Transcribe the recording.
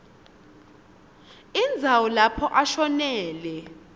indzawo lapho ashonele